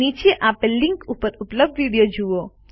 નીચે આપેલ લીનક ઉપર ઉપલબ્ધ વિડીઓ જુઓ